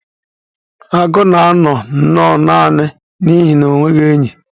Agụ na-anọ nnọọ naanị n'ihi na o nweghị enyi